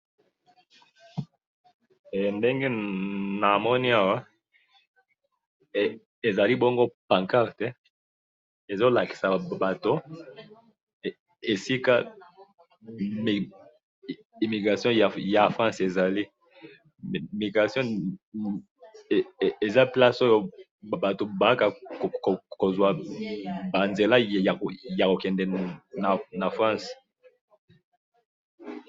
Ndenge namoni Awa, ezali bongo pancarte, ezolakisa Bato, esika immigration ya France ezali, immigration Eza place Oyo Bato bayaka kozwa ba nzela ya kokende na France.